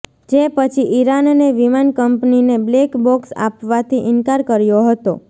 જે પછી ઇરાનને વિમાન કંપનીને બ્લેક બોક્સ આપવાથી ઇનકાર કર્યો હતો